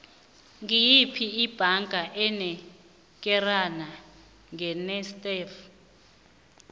ngiyiphi ibhanga enikelana ngenetsafe